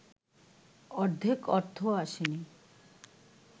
অর্ধেক অর্থও আসেনি